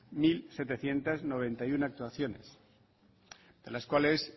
mil setecientos noventa y uno actuaciones de las cuales